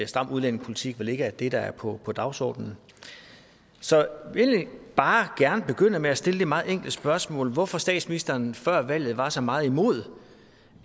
stram udlændingepolitik vel ikke er det der er på på dagsordenen så jeg vil egentlig bare gerne begynde med at stille det meget enkle spørgsmål hvorfor statsministeren før valget var så meget imod